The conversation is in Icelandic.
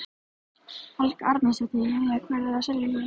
Helga Arnardóttir: Jæja, hvað eruð þið að selja hér?